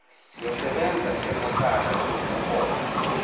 siyosebenza njengohlala lokuhola